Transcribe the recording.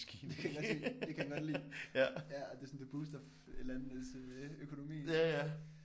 Det kan han godt lide det kan han godt lide ja og det er sådan det booster landenes øh økonomi